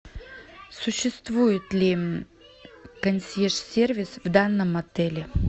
существует ли консьерж сервис в данном отеле